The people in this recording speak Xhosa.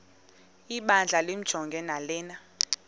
ibandla limjonge lanele